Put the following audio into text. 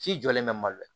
Si jɔlen bɛ malo